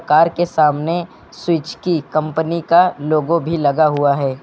Car के सामने स्विजकी कंपनी का लोगो भी लगा हुआ है।